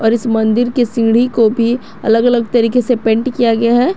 इस मंदिर के सीढ़ी को भी अलग अलग तरीके से पेंट किया गया है।